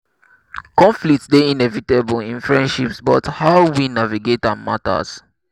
conflict dey inevitable in friendships but how we navigate am matters.